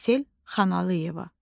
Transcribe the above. Aysel Xanalıyeva.